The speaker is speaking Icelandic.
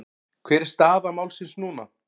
Hver er staða málsins núna?